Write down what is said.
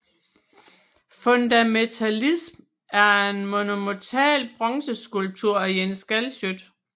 Fundamentalism er en monumental bronzeskulptur af Jens Galschiøt